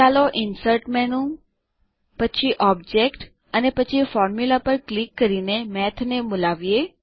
ચાલો insert menu પછી object અને પછી ફોર્મ્યુલા પર ક્લિક કરીને મેઠ ને બોલાવીએ